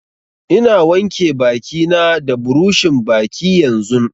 Ina wanke baki na da buroshin baki yanzun